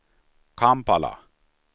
Kampala